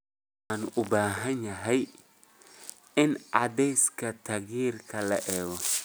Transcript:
Waxaan u baahanahay in cadaadiska taayirka la eego